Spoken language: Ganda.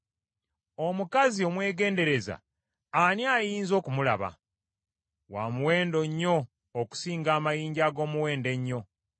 Omukazi omwegendereza ani ayinza okumulaba? Wa muwendo nnyo okusinga amayinja ag’omuwendo ennyo.